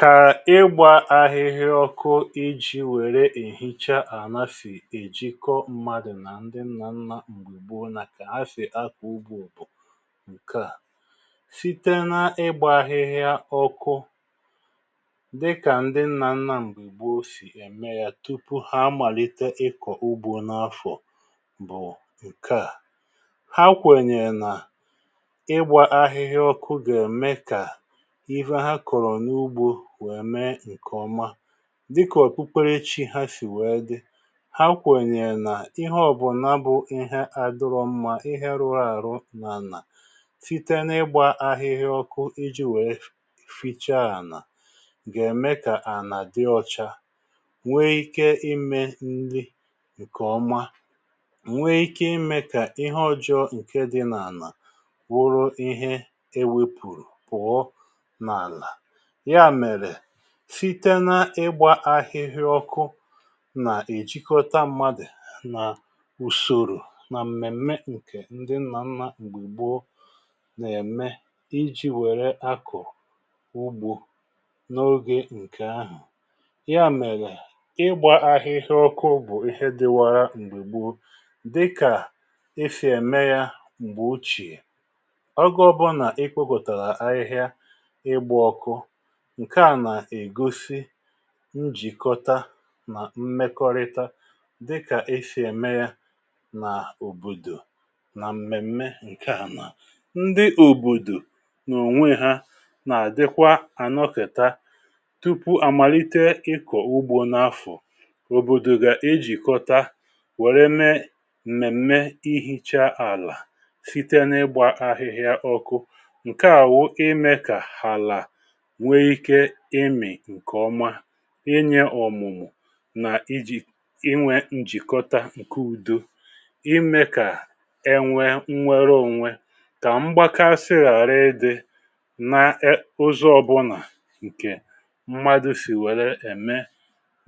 Kà ịgbȧ ahịhịa ọkụ iji̇ wère èhicha àna sì èjikọ mmadụ̀ nà ndi nnà nnà m̀gbe gboo na kà ha sì akọ̀ ugbȯ bụ̀ ǹke à. site na ịgbȧ ahịhịa ọkụ dị kà ndi nnà nnà m̀gbe gboo sì ème yȧ tupu ha màlite ịkọ̀ ugbȯ n’afọ̀ bụ̀ ǹke à. Ha kwènyè nà ịgbȧ ahịhịa ọkụ gà ème kà ihe ha kụrụ n’ugbo wèe mee ǹke ọma dịkà ọ̀kpukpere chi ha sì wèe dị ha kwènyè nà ihe ọ bụ̀na bụ̇ ihe àdụrọọ mma ihe rụrụ àrụ n’ànà, site n’ịgbȧ ahịhịa ọkụ iji̇ wèe fi ficha ànà gà ème kà ànà dị ọcha nwee ike imė ndị ǹkè ọma, nwee ike imė kà ihe ọjọọ ǹke dị n’ànà wụrụ ihe ewepùrù pụọ n’ana. Ya mere síte na ịgba ahịhịa ọkụ nà-èjikọta mmadụ̀ nà ùsòrò nà m̀mèm̀me ǹkè ndi nnà nnà mgbe gboo nà-ème iji̇ wère akọ̀ ugbȯ n’ogė ǹkè ahụ̀. Ya mèlè ịgbȧ ahịhịa ọkụ bụ̀ ihe dịwara mgbe gboo dịkà esi ème ya mgbè ochìè. Ọgọ ọbụnà ekpopụtara ahịhịa ịgba ọkụ, ǹke à nà-ègosi njìkọta nà mmekọrịta dịkà eshì ème ya nà òbòdò nà m̀mèm̀me ǹke ànà. Ndị òbòdò nà ònwe ha nà-àdịkwa ànọkị̀ta tupu à màlite ịkọ̀ ugbo n’afọ̀ òbòdò gà ejìkọta wère mee m̀mèm̀mè ihicha àlà site n’ịgbà ahịhịa ọkụ. Nkè à wụ imė kà hala nwee ike imị̀ ǹkè ọmà, inyė ọ̀mụ̀mụ̀ nà ijì inwė njìkọta ǹke udo, imė kà enwė nnwere onwe, kà mgbakasị ghàra ị dị na e ụzọ̀ ọbụnà ǹkè mmadụ̇ sì wèrè ème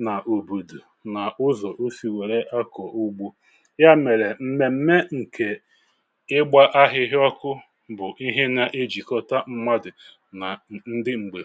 na òbòdò nà ụzọ̀ osì wèrè akọ̀ ugbȯ. Ya mèrè m̀mèm̀mè nke ịgbȧ ahịhịa ọkụ bụ̀ ihe nà ejìkọta mmadụ̀ na ndị mgbe